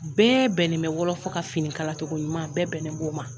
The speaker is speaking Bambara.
Bɛɛ bɛnen bɛ wɔlɔfɔ ka finikalacogo ɲuman bɛɛ bɛnnen b'o ma.